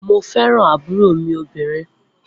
Mo fẹ́ràn ń àbúrò mí obìnrin.